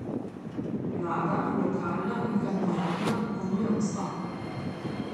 Vlada, lokalna in kantonalna, ponuja odstop.